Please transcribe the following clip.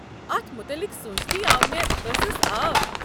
اتھ متعلق سونٛچتھی آو مےٚ ٲسَس آب۔